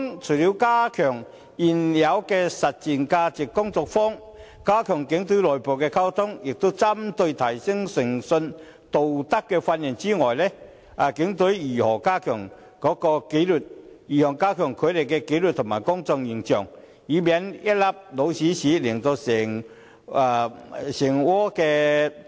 除了加強現有的"實踐價值觀"工作坊、警隊的內部溝通，以及提升警員的誠信和道德的培訓外，警方會如何加強警隊的紀律和提升公眾形象，以免一粒"老鼠屎"破壞整鍋粥？